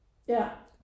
Ja